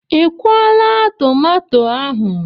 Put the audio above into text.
Ị kwụọla tomato ahụ?